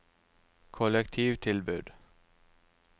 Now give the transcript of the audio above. kollektivtilbud